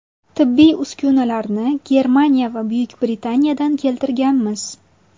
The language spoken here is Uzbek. Tibbiy uskunalarni Germaniya va Buyuk Britaniyadan keltirganmiz.